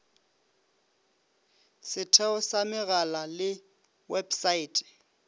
setheo sa megala le websaete